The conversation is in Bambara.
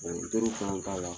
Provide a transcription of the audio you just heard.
teri k'a la.